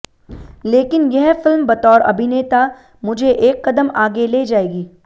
लेकिन यह फिल्म बतौर अभिनेता मुझे एक कदम आगे ले जाएगी